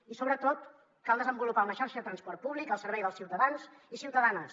i sobretot cal desenvolupar una xarxa de transport públic al servei dels ciutadans i ciutadanes